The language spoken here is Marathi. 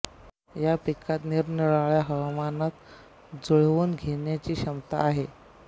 या पिकात निरनिराळ्या हवामानात जुळवून घेण्याची क्षमता आहे